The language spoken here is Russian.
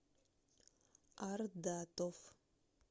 ардатов